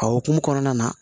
A hukumu kɔnɔna na